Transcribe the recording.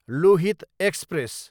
Lohit express